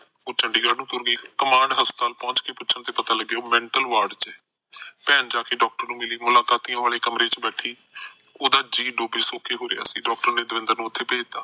ਉਹ ਚੰਡੀਗੜ ਨੂੰ ਤੁਰ ਪਈ ਕਮਾਂਡ ਹਸਪਤਾਲ ਚ ਪਹੁਚ ਕੇ ਪੁਛਣ ਤੋ ਪਤਾ ਲੱਗਿਆ ਉਹ ਮੈਂਟਲ ਵਾਰਡ ਚ ਐ ਭੈਣ ਜਾਕੇ ਡਾਕਟਰ ਨੂੰ ਮਿਲੀ ਮੁਲਾਕਾਤੀਆਂ ਵਾਲੇ ਕਮਰੇ ਚ ਬੈਠੀ ਉਹਦਾ ਜੀਅ ਡੋਖੇ ਸੋਖੇ ਹੋ ਰਿਹਾ ਦਵਿੰਦਰ ਨੇ ਉਥੇ ਭੇਜਤਾ